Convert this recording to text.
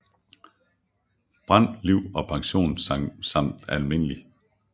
Brand Liv og Pension samt Alm